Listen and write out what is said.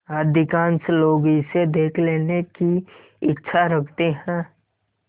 अधिकांश लोग इसे देख लेने की इच्छा रखते हैं